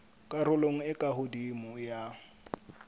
karolong e ka hodimo ya